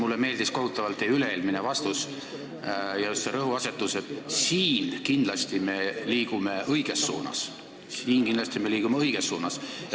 Mulle meeldis kohutavalt teie üle-eelmine vastus, just see rõhuasetus, et "siin kindlasti me liigume õiges suunas".